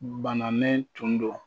Bananen tun don